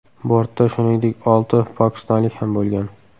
Bortda shuningdek, olti pokistonlik ham bo‘lgan.